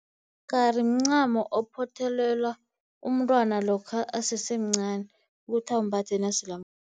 Umgari mncamo ophothelelwa umntwana lokha asesemncani ukuthi awumbathe nasele